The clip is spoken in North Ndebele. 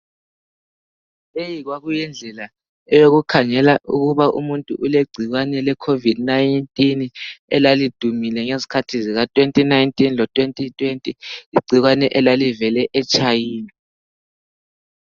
Leyi kwakuyindlela eyokukhangela ukuba umuntu ulegcikwane leCOVID-19 elalidumile ngezikhathi zika 2019 lo 2020, igcikwane elalivele eChina.